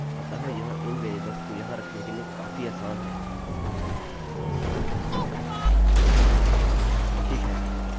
अतः यह इन वेरिएबल्स को यहाँ रखने के लिए काफी आसान है